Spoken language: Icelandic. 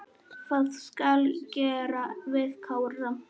Hvað skal gera við Kára?